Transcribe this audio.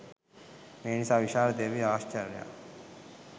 මේසා විශාල දිව්‍ය ඓශ්චර්යයක්